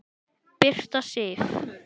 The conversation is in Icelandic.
Birta Sif.